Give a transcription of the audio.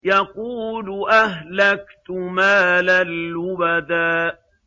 يَقُولُ أَهْلَكْتُ مَالًا لُّبَدًا